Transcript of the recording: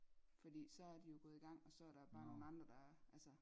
Fordi så er de jo gået i gang og så er der bare nogle andre der altså